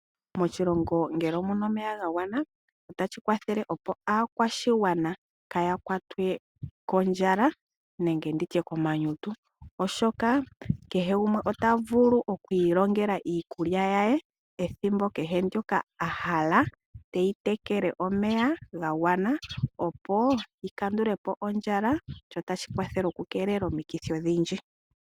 Moshilongo ngele omuna omeya gagwana, ohashi kwathele aakwashigwana kaaya kwatwe kondjala nokomanyutu. Oshoka kehe gumwe ota vulu okwiilongela iikulya ye ethimbo kehe ndyoka a hala, teyi tekele omeya ga gwana opo akandule po ondjala. Ohashi kwathele okukeelela omikithi odhindji.